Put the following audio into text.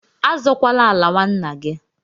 Azọkwala ala nwanna gị!